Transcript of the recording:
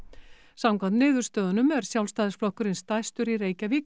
samkvæmt niðurstöðunum er Sjálfstæðisflokkurinn stærstur í Reykjavík